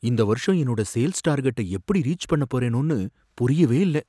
இந்த வருஷம் என்னோட சேல்ஸ் டார்கெட்ட எப்படி ரீச் பண்ண போறேனோனு புரியவே இல்ல.